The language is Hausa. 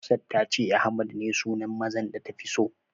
Hafsat ta ce Ahmad ne sunan mazan da tafi so.